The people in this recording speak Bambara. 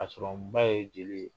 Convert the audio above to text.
A sɔrɔ n ba ye jeli ye.